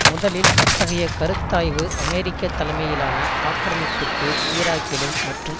முதலில் அத்தகைய கருத்தாய்வு அமெரிக்க தலைமையிலான ஆக்கிரமிப்பிற்கு ஈராக்கிலும் மற்றும்